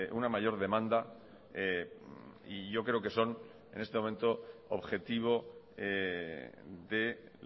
una mayor demanda y yo creo que son en este momento objetivo de